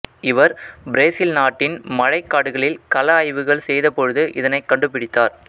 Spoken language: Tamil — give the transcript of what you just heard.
இவர் பிரேசில் நாட்டின் மழைக்காடுகளில் கள ஆய்வுகள் செய்தபொழுது இதனைக் கண்டுபிடித்தார்